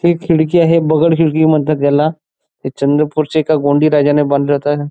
ही खिडकी आहे बगड खिडकी म्हणतात याला हे चंद्रपूर च्या एका गोंडी राजाने बांधली होत.